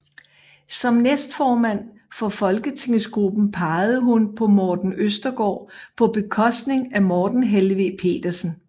Som næstformand for folketingsgruppen pegede hun på Morten Østergaard på bekostning af Morten Helveg Petersen